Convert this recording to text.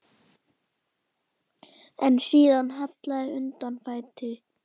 En síðan hallaði undan fæti.